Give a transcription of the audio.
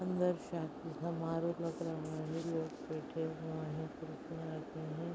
अन्दर शादी समारोह लग रहा है। लोग बैठे हुए हैं। कुर्सियां लगी हैं।